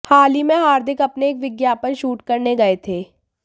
हाल ही में हार्दिक अपने एक विज्ञापन शूट करने गए थे